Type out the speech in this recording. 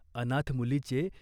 अनाथ मुलीचे